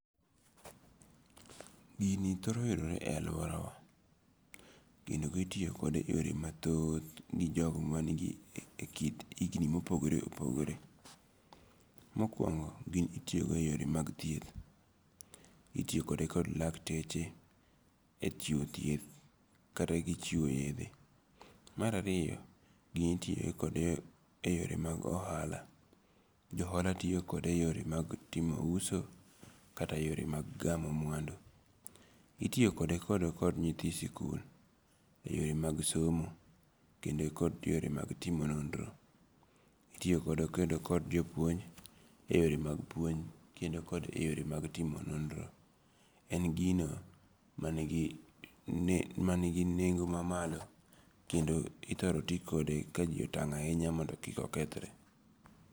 Gini thoro yudore e aluorawa, kendo itiyokode e yore mathoth, mijogo manigi e kind higni mopogore opogore, mokuongo' gini itiyokodo e yore mag thieth, itiyokode kod lakteche e chiwo thieth kata gi chiwo yethe, marariyo gini itiyokode e yore mag ohala, jo ohala tiyo kode e yore mag timo uso kata yore mag gamo mwandu, itiyikode e kode kod nyithi sikul e yore mag somo kendo kod yore mag timo nondro, itiyo kode kod jopuonj e yore mag puonj kendo kod e yore mag timo nondro, en gino manigi manigi nengo' mamalo kendo ithoro ti kode ka ji otang' ahinya mondo kik okethre.